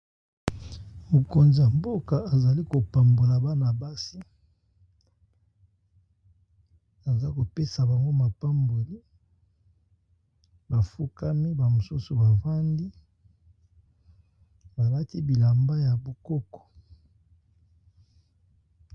Mokonza-mboka azali kopambola bana basi aza kopesa bango mapamboli bafukami bamosusu bavandi balati bilamba ya bokoko.